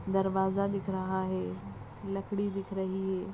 दरवाजा दिख रहा है लकड़ी दिख रही है।